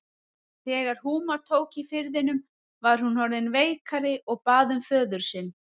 Þegar húma tók í firðinum var hún orðin veikari og bað um föður sinn.